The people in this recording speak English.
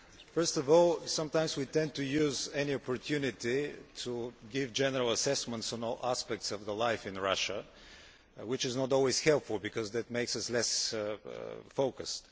First of all, sometimes we tend to use any opportunity to give general assessments on all aspects of life in Russia, which is not always helpful because that makes us less focused.